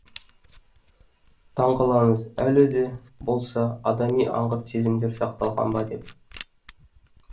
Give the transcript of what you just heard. таң қаламыз әлі де болса адами аңғырт сезімдер сақталған ба деп